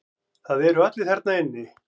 Það eru allir þarna inni.